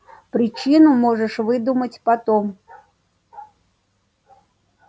причину можешь выдумать потом